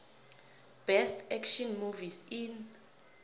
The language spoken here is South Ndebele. best action movies in